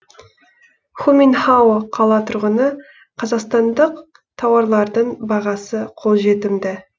ху мин хао қала тұрғыны қазақстандық тауарлардың бағасы қолжетімді